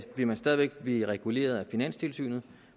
vil man stadig væk blive reguleret af finanstilsynet